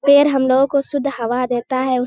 पेड़ हम लोग को शुद्ध हवा देता है।